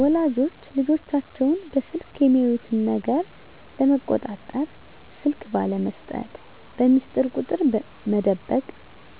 ወላጆች ልጆቻቸውን በስልክ የሚያዩት ነገር ለመቆጣጠር ስልክ ባለመስጠት፣ በሚስጥር ቁጥር መደበቅ